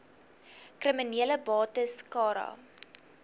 kriminele bates cara